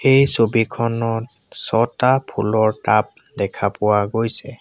এই ছবিখনত ছটা ফুলৰ টাব দেখা পোৱা গৈছে।